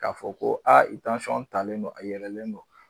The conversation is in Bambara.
K'a fɔ ko aa i tansɔn talen don a yɛlɛlen don